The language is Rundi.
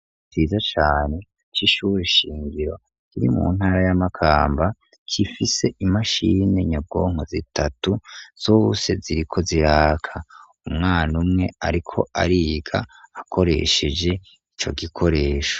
Ikigo ciza cane c'ishura shingiro kiri mu ntara ya makamba gifise imashini nyabwonko zitatu zose ziriko ziraka umwana umwe ariko ariga akoresheje ico gikoresho.